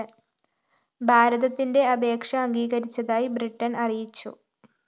ഭാരതത്തിന്റെ അപേക്ഷ അംഗീകരിച്ചതായി ബ്രിട്ടന്‍ അറിയിച്ചു